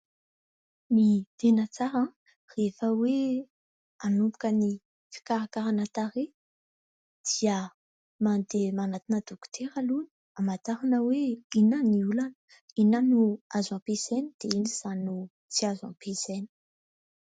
Ny tena tsara rehefa hoe hanomboka ny fikarakarana tarehy dia mandeha manantona dokotera aloha, hamantarana hoe inona ny olana inona azo ampiasaina dia inona ny tsy azo ampiasaina.